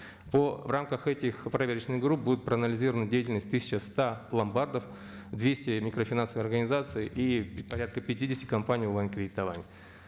в рамках этих проверочных групп будут проанализированы деятельность тысяча ста ломбардов двести микрофинансовых организаций и порядка пятидесяти компаний онлайн кредитования